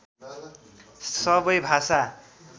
सबै भाषा